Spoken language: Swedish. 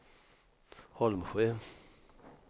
Holmsjö